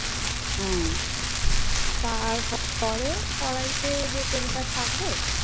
তারপরে কড়াইতে যে তেলটা থাকবে